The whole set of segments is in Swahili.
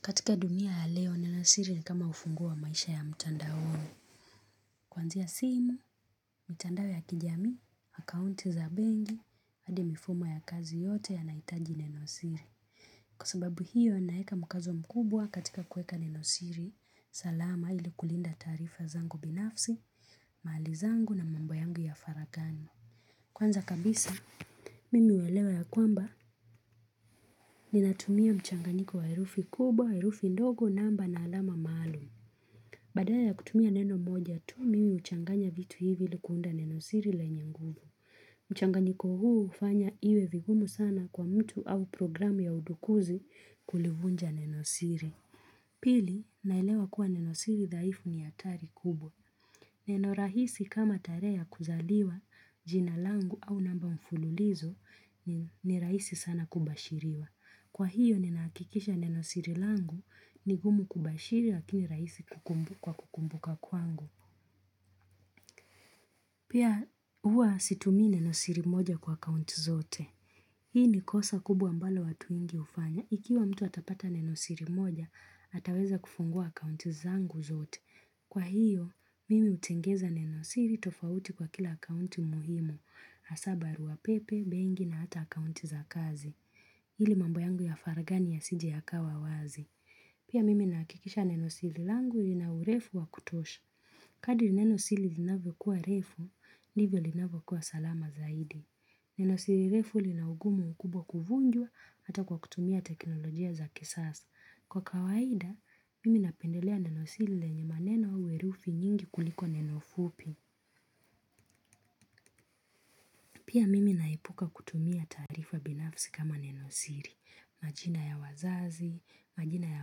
Katika dunia ya leo nenosiri ni kama ufunguo wamaisha ya mtandaoni. Kuanzia simu, mtandao ya kijamii, akaunti za benki, hadi mifumo ya kazi yote ya nahitaji nenosiri. Kwa sababu hiyo naweka mkazo mkubwa katika kweka nenosiri, salama ili kulinda tasrifa zangu binafsi, mahali zangu na mambo yangu ya faraghani. Kwanza kabisa, mimi huelewa ya kwamba ni natumia mchanganyiko wa herufi kubwa, herufi ndogo namba na alama maalum. Badala ya kutumia neno moja tu mimi huchanganya vitu hivi ili kuunda nenosiri lenye nguvu. Mchanganyiko huu hufanya iwe vigumu sana kwa mtu au programu ya udukuzi kulivunja nenosiri. Pili ninaelewa kuwa nenosiri daifu ni hatari kubwa. Neno rahisi kama tarehe ya kuzaliwa jina langu au namba mfululizo ni rahisi sana kumbashiriwa. Kwa hiyo ninahakikisha neno siri langu ni gumu kubashiri lakini raisi kukumbuka kwa kukumbuka kwangu. Pia huwa situmii neno siri moja kwa akaunti zote. Hii ni kosa kubwa ambalo watu wengi hufanya. Ikiwa mtu atapata neno siri moja, ataweza kufungua akaunti zangu zote. Kwa hiyo, mimi utengeza neno siri tofauti kwa kila kaunti muhimu. Hasa barua pepe, benki na hata akaunti za kazi. Ili mambo yangu ya faraghani ya sije ya kawa wazi. Pia mimi ninakikisha nenosiri langu lina urefu wa kutosha. Kadri nenosiri linavyo kuwa refu, ndivyo linavyo kuwa salama zaidi. Nenosiri refu linaugumu ukubwa kuvunjwa hata kwa kutumia teknolojia za kisasa. Kwa kawaida, mimi napendelea nenosiri lenye maneno au herufi nyingi kuliko neno fupi. Pia mimi naepuka kutumia taarifa binafsi kama neno siri. Majina ya wazazi, majina ya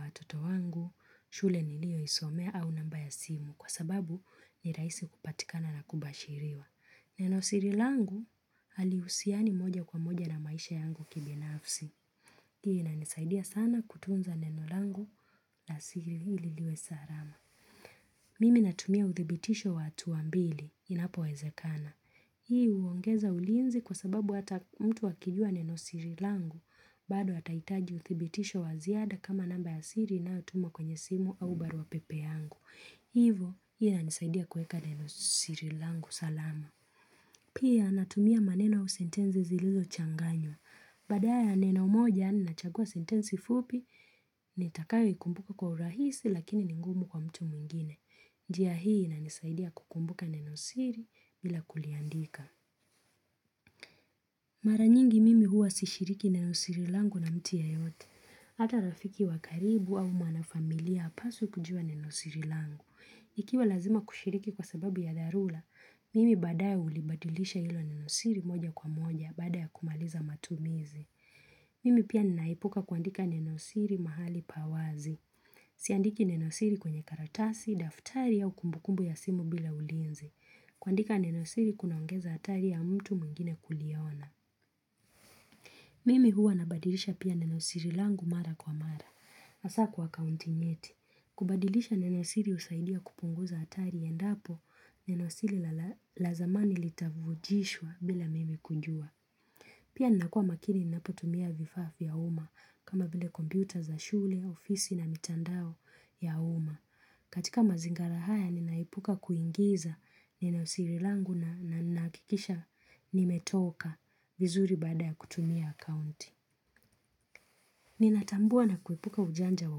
watoto wangu, shule niliyo isomea au namba ya simu kwa sababu ni rahisi kupatikana na kubashiriwa. Nenosiri langu hali husiani moja kwa moja na maisha yangu kibinafsi. Hii inanisaidia sana kutunza neno langu na siri ili liwe salama. Mimi natumia uthibitisho wa hatua mbili, inapo wezekana. Hii huongeza ulinzi kwa sababu hata mtu akijua nenosiri langu, bado atahitaji uthibitisho wa ziada kama namba ya siri inayotumwa kwenye simu au barua pepe yangu. Hivyo, hii inanisaidia kuweka nenosiri langu salama. Pia natumia maneno au sintenzi zilizo changanywa. Badala ya neno moja nina chagua sentensi fupi ni katakayo ikumbuka kwa urahisi lakini ni ngumu kwa mtu mwingine. Njia hii inanisaidia kukumbuka nenosiri bila kuliandika. Mara nyingi mimi huwa sishiriki nenosiri langu na mtu yeyote. Hata rafiki wakaribu au mwanafamilia hapaswe kujua nenosiri langu. Ikiwa lazima kushiriki kwa sababu ya dharura, mimi baadae hulibadilisha hilo nenosiri moja kwa moja baada ya kumaliza matumizi. Mimi pia ninaepuka kuandika nenosiri mahali pawazi. Siandiki nenosiri kwenye karatasi, daftari au kumbukumbu ya simu bila ulinzi. Kuandika nenosiri kunaongeza hatari ya mtu mwingine kuliona. Mimi huwa nabadilisha pia nenosiri langu mara kwa mara. Hasa kwa akaunti nyeti. Kubadilisha nenosiri husaidia kupunguza hatari endapo nenosiri la zamani litavujishwa bila mimi kujua. Pia ninakuwa makini ninapotumia vifaa ya uma kama vile kompyuta za shule, ofisi na mitandao ya uma. Katika mazingira haya ninaepuka kuingiza nenosiri langu na ninahakikisha nimetoka vizuri baada ya kutumia akaunti. Ninatambua na kuepuka ujanja wa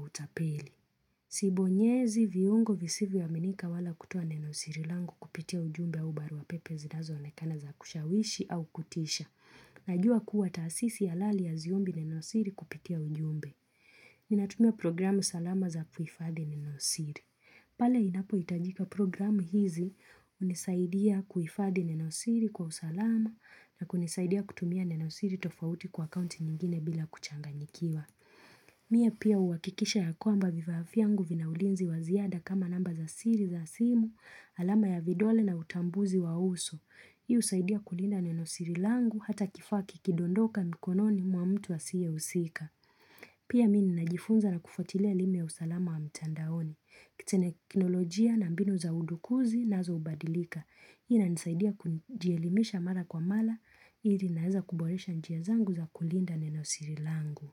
utapeli. Sibonyezi viungo visivyo aminika wala kutoa nenosiri langu kupitia ujumbe au barua pepe zinazo onekana za kushawishi au kutisha. Najua kuwa taasisi ya halali haziombi nenosiri kupitia ujumbe. Ni natumia programu salama za kuhifadhi nenosiri. Pala inapo hitajika programu hizi hunisaidia kuhifadhi nenosiri kwa usalama na kunisaidia kutumia nenosiri tofauti kwa akaunti nyingine bila kuchanganyikiwa. Mie pia huwakikisha ya kwamba vifaa vyangu vinaulinzi wa ziada kama namba za siri za simu, alama ya vidole na utambuzi wa uso. Hii husaidia kulinda nenosiri langu hata kifaa kikidondoka mikononi mwa mtu asiye husika. Pia mimi ninajifunza na kufautia elimu ya usalama wa mtandaoni. Kiteknolojia na mbinu za udukuzi nazo hubadilika. Hii inanisaidia kujielimisha mara kwa mara, ili naweza kuboresha njia zangu za kulinda nenosiri langu.